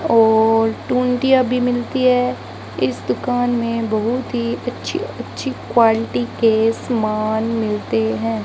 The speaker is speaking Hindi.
और टुंटिया भी मिलती हैं इस दुकान में बहुत ही अच्छी अच्छी क्वालिटी के समान मिलते हैं।